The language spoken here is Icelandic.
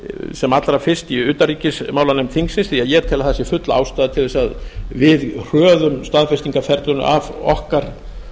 sem allra fyrst í utanríkismálanefnd þingsins því ég tel að það sé full ástæða til að við hröðum staðfestingarferlinu af okkar